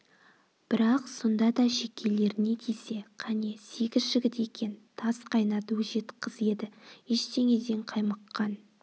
бірақ сонда да шекелеріне тисе қане сегіз жігіт екен тас қайнат өжет қыз еді ештеңеден қаймыққан